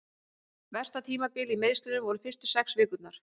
Versta tímabilið í meiðslunum voru fyrstu sex vikurnar.